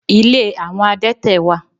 Ilé àwọn adẹ́tẹ̀ wà.